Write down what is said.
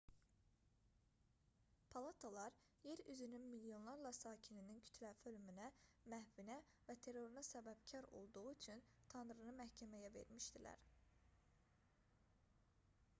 palatalar yer üzünün milyonlarla sakininin kütləvi ölümünə məhvinə və teroruna səbəbkar olduğu üçün tanrını məhkəməyə vermişdilər